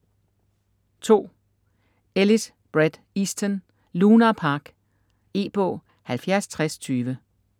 Ellis, Bret Easton: Lunar Park E-bog 706020